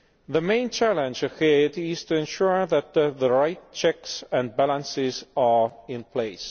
The main challenge ahead is to ensure that the rights checks and balances are in place.